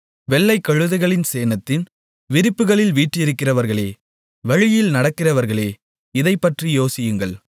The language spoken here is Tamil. வெள்ளைக் கழுதைகளின் சேணத்தின் விரிப்புகளில் வீற்றிருக்கிறவர்களே வழியில் நடக்கிறவர்களே இதைப் பற்றி யோசியுங்கள்